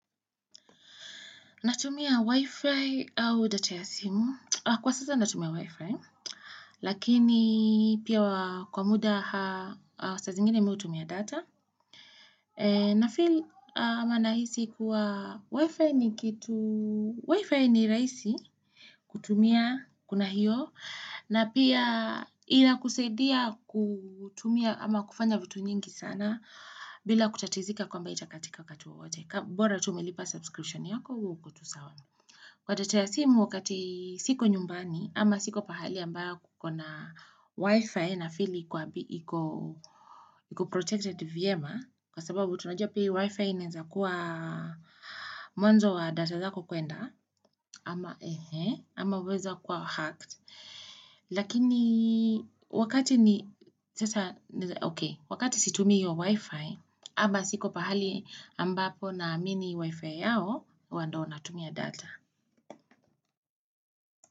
Natumia Wi-Fi au data ya simu. Kwa sasa natumia Wi-Fi, lakini pia kwa muda saa zingine mi hutumia data. Nafeel ama nahisi kuwa Wi-Fi ni kitu, Wi-Fi ni rahisi kutumia kuna hiyo, na pia ila kusaidia kutumia ama kufanya vitu nyingi sana bila kutatizika kwamba itakatika wakati wowote bora tu umelipa. Kwa data ya simu wakati siko nyumbani ama siko pahali ambayo kukona wifi nafili iko protected vyema Kwa sababu tunajua pia wifi inenza kuwa mwanzo wa data zako kuenda ama weza kuwa hacked Lakini wakati ni sasa ok, wakati situmi hiyo wifi ama siko pahali ambapo naamini wifi yao huwa ndo natumia data.